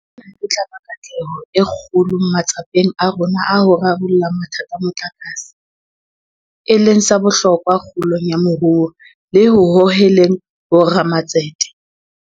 Ena e tla ba katleho e kgolo matsapeng a rona a ho rarolla mathata a motlakase, e leng sa bohlokwa kgolong ya moruo le ho hoheleng bo ramatsete.